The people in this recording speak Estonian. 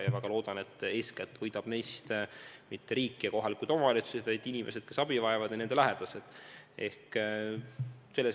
Ma väga loodan, et eeskätt ei võida neist mitte riik ja kohalikud omavalitsused, vaid inimesed, kes abi vajavad, ja nende lähedased.